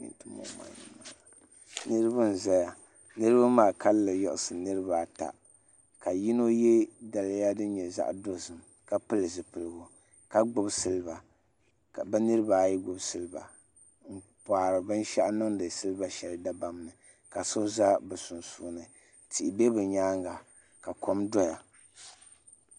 Niriba n-zaya niriba maa kalinli yiɣisi niriba ata ka yino ye daliya din nyɛ zaɣ' dɔzim ka pili zipiliɡu ka ɡbubi siliva ka bɛ niriba ayi ɡbubi siliva n-kpaari bin' shɛli niŋdi siliva shɛli dabam ni ka so za bɛ sunsuuni tihi be bɛ nyaaŋa ka kom dɔya